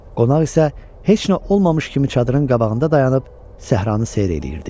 Qonaq isə heç nə olmamış kimi çadırın qabağında dayanıb səhranı seyr eləyirdi.